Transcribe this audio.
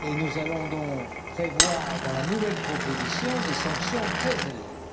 et nous allons donc prévoir, dans la nouvelle proposition, des sanctions très élevées.